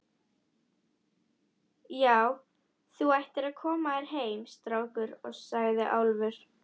Já, þú ættir að koma þér heim, strákur, sagði Álfur.